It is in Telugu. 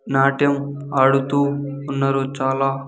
నాట్యం ఆడుతూ ఉన్నరు చాల.